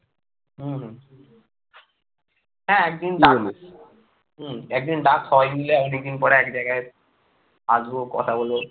হ্যাঁ একদিন ডাক, একদিন ডাক সবাই মিলে এতদিন পরে এক জায়গায় আসবো কথা বলব।